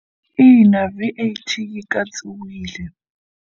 Ina, V_A_T yi katsiwile.